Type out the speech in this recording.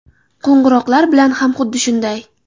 Qo‘ng‘iroqlar bilan ham xuddi shunday.